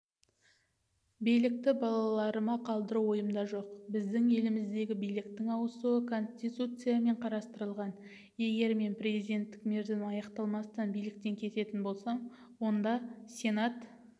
билікті балаларыма қалдыру ойымда жоқ біздің еліміздегі биліктің ауысуы конституциямен қарастырылған егер мен президенттік мерзім аяқталмастан биліктен кететін болсам онда сенат